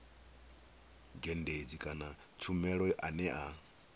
dzhendedzi kana tshumelo ane a